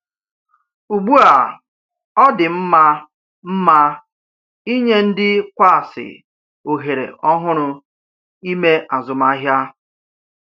Ugbu a, ọ dị mma mma inye ndị kwààsi ohere ọhụrụ ime azụmahịa.